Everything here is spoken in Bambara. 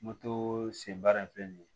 sen baara in filɛ nin ye